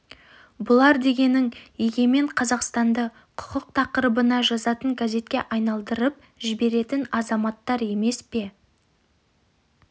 бұлар дегенің егемен қазақстанды құқық тақырыбына жазатын газетке айналдырып жіберетін азаматтар емес пе